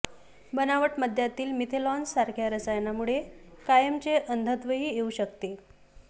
बनावट मद्यातील मिथेनॉलसारख्या रसायनामुळे कायमचे अंधत्वही येऊ शकते